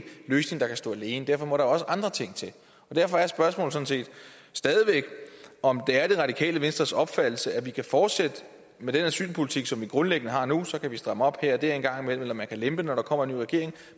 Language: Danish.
løsning der kan stå alene derfor må der også andre ting til derfor er spørgsmålet sådan set stadig væk om det er det radikale venstres opfattelse at vi kan fortsætte med den asylpolitik som vi grundlæggende har nu så kan vi stramme op her og der en gang imellem eller man kan lempe når der kommer en ny regering